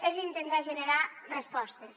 és intentar generar respostes